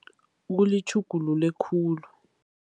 Kulitjhugulule khulu.